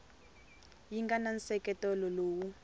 yi nga na nseketelo lowu